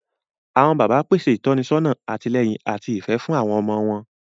Awọn bàbà pèsè ìtọ́nisọ́nà, àtìlẹ́yìn, ati ifẹ fún àwọn ọmọ wọn